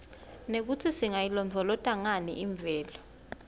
nekutsi singayilondvolozata nganiimvelo